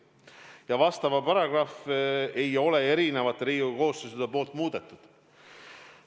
Ja sellekohast paragrahvi ei ole erinevad Riigikogu koosseisud muutnud.